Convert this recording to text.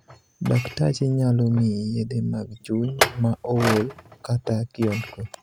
Daktachi nyalo miyi yedhe mag chuny ma ool kata kiondko.